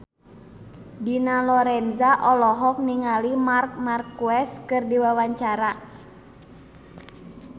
Dina Lorenza olohok ningali Marc Marquez keur diwawancara